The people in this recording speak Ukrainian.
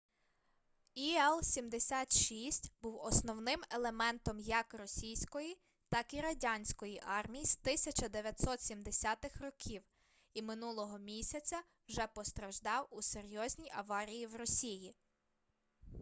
іл-76 був основним елементом як російської так і радянської армій з 1970-х років і минулого місяця вже постраждав у серйозній аварії в росії